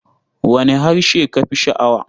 Wane harshe ka fi sha'awa?